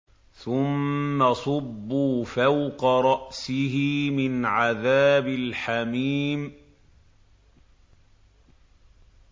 ثُمَّ صُبُّوا فَوْقَ رَأْسِهِ مِنْ عَذَابِ الْحَمِيمِ